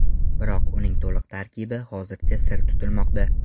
Biroq uning to‘liq tarkibi hozircha sir tutilmoqda.